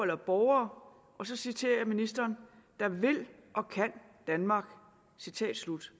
har borgere og så citerer jeg ministeren der vil og kan danmark citat slut